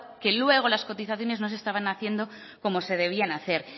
que luego las cotizaciones no se estaban haciendo como se debieran hacer